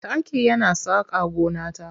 Taki yana saka gona ta